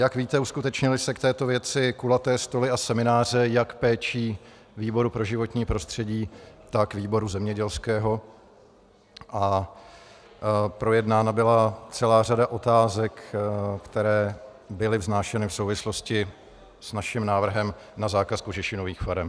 Jak víte, uskutečnily se k této věci kulaté stoly a semináře jak péčí výboru pro životní prostředí, tak výboru zemědělského a projednána byla celá řada otázek, které byly vznášeny v souvislosti s naším návrhem na zákaz kožešinových farem.